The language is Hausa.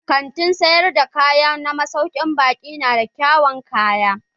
Kantin sayar da kaya na masaukin baƙi na da kyawawan kaya.